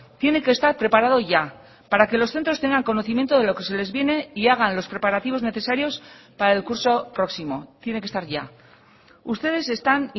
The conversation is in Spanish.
tiene que estar preparado ya para que los centros tengan conocimiento de lo que se les viene y hagan los preparativos necesarios para el curso próximo tiene que estar ya ustedes están